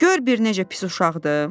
Gör bir necə pis uşaqdır.